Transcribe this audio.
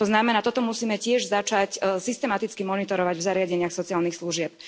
To znamená, toto musíme tiež začať systematicky monitorovať v zariadeniach sociálnych služieb.